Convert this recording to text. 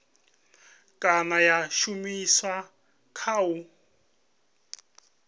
kana ya shumiswa kha u